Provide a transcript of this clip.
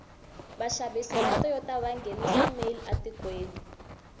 vashavisi vatoyota vangenisa male atikweni